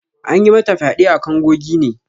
An yi mata fyade a kango gine.